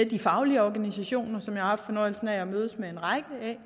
de faglige organisationer som jeg har haft fornøjelsen af at mødes med en række